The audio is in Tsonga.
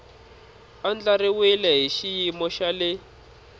andlariwile hi xiyimo xa le